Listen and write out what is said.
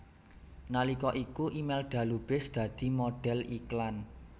Nalika iku Imelda Lubis dadi modhel iklan